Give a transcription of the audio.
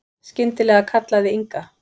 Skyndilega kallaði Inga